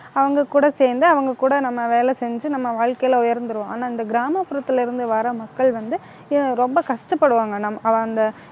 அவங்க கூட சேர்ந்து, அவங்க கூட நம்ம வேலை செஞ்சு நம்ம வாழ்க்கையில உயர்ந்துருவோம். ஆனா, இந்த கிராமப்புறத்தில இருந்து வர்ற மக்கள் வந்து, அஹ் ரொம்ப கஷ்டப்படுவாங்க அவ~ அந்த